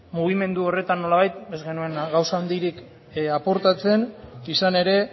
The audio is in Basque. mugimendu horretan nolabait ez genuen gauza handirik aportatzen izan ere